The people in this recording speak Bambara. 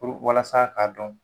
puru walasa k'a dɔn.